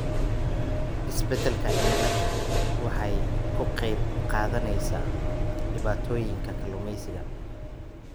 Isbeddelka cimiladu waxay ka qayb qaadanaysaa dhibaatooyinka kalluumaysiga.